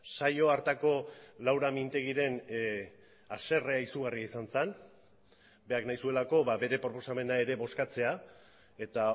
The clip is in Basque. saio hartako laura mintegiren haserrea izugarria izan zen berak nahi zuelako bere proposamena ere bozkatzea eta